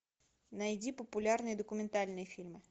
найди популярные документальные фильмы